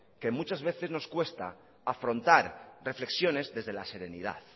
que muchas veces nos cuesta afrontar reflexiones desde la serenidad